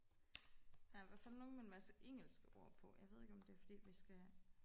der i hvertfald nogen med en masse engelske ord på jeg ved ikke om det er fordi vi skal